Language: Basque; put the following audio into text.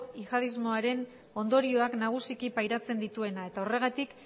yihadismoaren ondorioak nagusiki pairatzen dituena eta horregatik